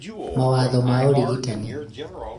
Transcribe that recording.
mawatho ma ũrigtani